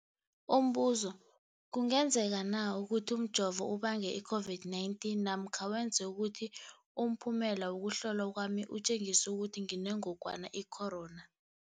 Umbuzo, kungenzekana ukuthi umjovo ubange i-COVID-19 namkha wenze ukuthi umphumela wokuhlolwa kwami utjengise ukuthi nginengogwana i-corona?